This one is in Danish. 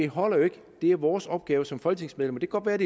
holder jo ikke det er vores opgave som folketingsmedlemmer at